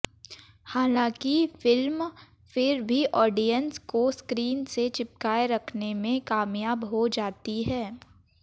हालांकि फिल्म फिर भी ऑडिएंस को स्क्रीन से चिपकाए रखने में कामयाब हो जाती है